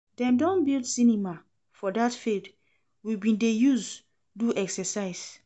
Dem don build cinema for that field we bin dey use do exercise